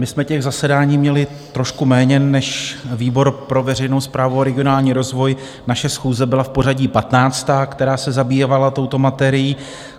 My jsme těch zasedání měli trošku méně než výbor pro veřejnou správu a regionální rozvoj, naše schůze byla v pořadí 15., která se zabývala touto materií.